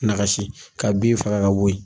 Nagasi ka bin faga ka bɔ yen.